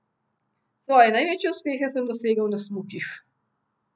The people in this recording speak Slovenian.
Svoje največje uspehe sem dosegel na smukih.